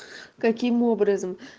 каким образом